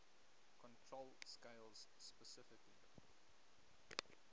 control scales specifically